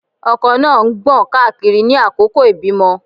Ọkọ náà ń gbọ̀n káàkiri ní àkókò ìbímọ.